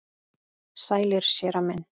Sælir, séra minn.